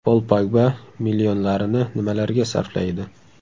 Pol Pogba millionlarini nimalarga sarflaydi?.